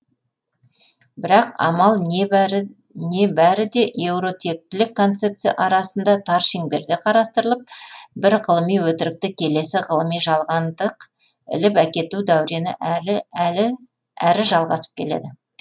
бірақ амал не бәрі де еуротектілік концепция арасында тар шеңберде қарастырылып бір ғылыми өтірікті келесі ғылыми жалғандық іліп әкету дәурені әрі жалғасып келеді